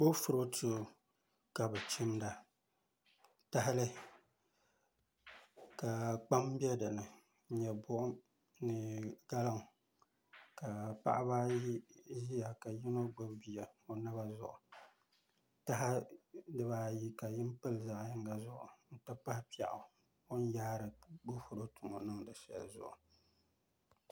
Boofuroto ka bi chinda tahalini k kpam bɛ dinni n nyɛ buɣum n nyɛ dari ka paɣaba ayi ʒiya ka yino gbubi bia taha dibaayi ka yin pili zaɣ yinga zuɣu n ti pahi piɛɣu o ni yaari boofuroto ŋo niŋdi shɛli ni